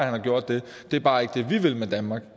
har gjort det det er bare ikke det vi vil med danmark